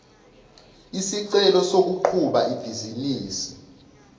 isicelo sokuqhuba ibhizinisi